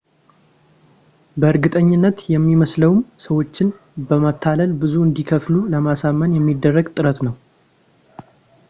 በእርግጠኝነት የሚመስለውም ሰዎችን በማታለል ብዙ እንዲከፍሉ ለማሳመን የሚደረግ ጥረት ነው